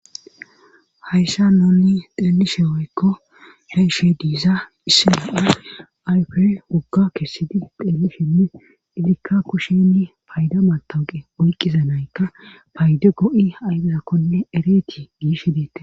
hayssa nuni xeelishe woykko be'ishe diza issi na'a ayfey wogga kessidi xeeli shenne izikka kusheni payda matawuqe oyqqiza naykka payde go'i ayfezakkone ereti giishe de'etes